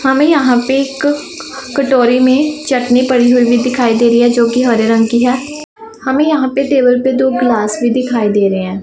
हमें यहां पे एक कटोरी में चटनी पड़ी हुई दिखाई दे रही है जोकि हरे रंग की है हमें यहां पे टेबल पे दो गिलास भी दिखाई दे रहे हैं।